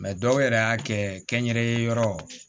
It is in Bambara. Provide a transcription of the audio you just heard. dɔw yɛrɛ y'a kɛ kɛnyɛrɛye yɔrɔ